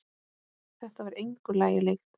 Þetta var engu lagi líkt.